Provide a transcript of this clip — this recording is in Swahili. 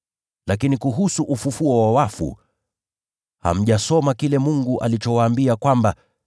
Lakini kuhusu ufufuo wa wafu, hamjasoma kile Mungu alichowaambia, kwamba,